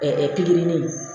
pikiri